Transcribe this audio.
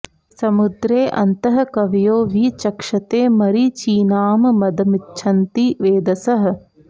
स॒मु॒द्रे अ॒न्तः क॒वयो॒ वि च॑क्षते॒ मरी॑चीनां प॒दमि॑च्छन्ति वे॒धसः॑